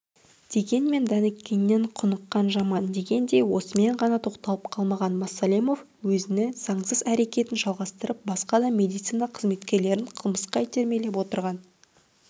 дегенмен дәніккеннен құныққан жаман дегендей осымен ғана тоқталып қалмаған масалимов өзіні засыз әрекетін жалғастырып басқа да медицина қызметкерлерін қылмысқа итермелеп отырған